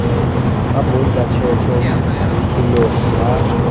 boi ba tjhetjhe letsholong ba